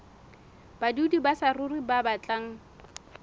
badudi ba saruri ba batlang